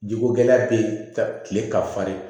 Jikogɛlɛya bɛ yen ka kile ka farin